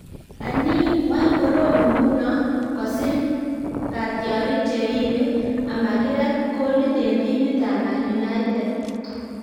Anii, wany korom nguno kosir katyarik cheribe amakirat kolit en timit ab Man Utd?